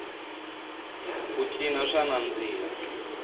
ku cina swa nandziha